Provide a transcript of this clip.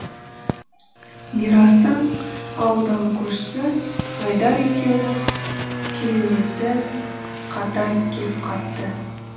мирастың ауылдағы көршісі айдар екеуінің кереуеті қатар кеп қапты